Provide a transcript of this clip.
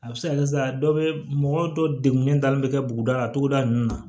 A bɛ se ka kɛ sisan dɔ bɛ mɔgɔ dɔ degunnen dalen bɛ kɛ buguda la togoda ninnu na